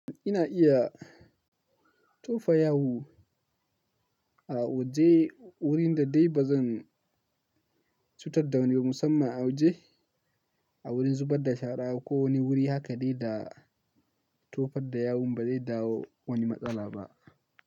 Ina iya tofa yawu a waje wurin da dai ba zan cutar da wani musamman a waje, a wurin zubar da shara ko wani wuri haka dai da tofar da yawun ba zai dawo wani matsala ba.